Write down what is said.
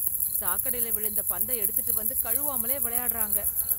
சாக்கடையில் விழுந்த பந்த எடுத்துட்டு வந்து கழுவாமலே விளையாடுறாங்க.